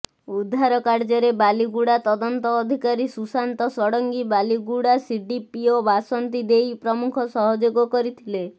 ଉଦ୍ଧାର କାର୍ଯ୍ୟରେ ବାଲିଗୁଡ଼ା ତଦନ୍ତ ଅଧିକାରୀ ଶୁଶାନ୍ତ ଷଡ଼ଙ୍ଗୀ ବାଲିଗୁଡ଼ା ସିଡିପିଓ ବାସନ୍ତି ଦେଇ ପ୍ରମୁଖ ସହଯୋଗ କରିଥିଲେ